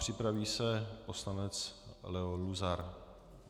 Připraví se poslanec Leo Luzar.